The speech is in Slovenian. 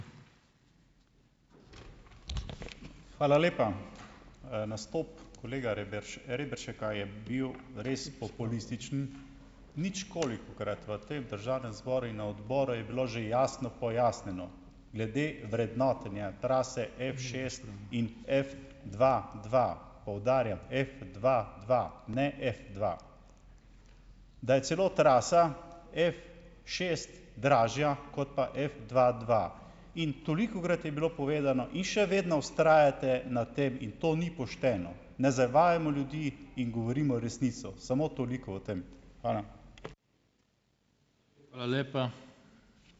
Hvala lepa. Nastop kolega Reberška je bil res populističen. Ničkolikokrat v tem državnem zboru in na odboru je bilo že jasno pojasnjeno glede vrednotenja trase Fšest in Fdva dva, poudarjam Fdva dva, ne Fdva. Da je celo trasa Fšest dražja kot pa Fdva dva. In tolikokrat je bilo povedano in še vedno vztrajate na tem in to ni pošteno. Ne zavajajmo ljudi in govorimo resnico. Samo toliko o tem. Hvala.